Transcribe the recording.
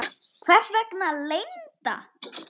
Hvers vegna leynd?